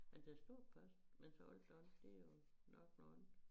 Ja der står post men så hold da op det jo nok noget andet